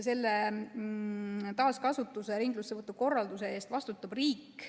Selle taaskasutuse ja ringlussevõtu korralduse eest vastutab riik.